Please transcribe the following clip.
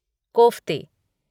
कोफ़्ते